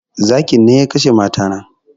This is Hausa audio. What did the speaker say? Zakin ne ya kashe mata na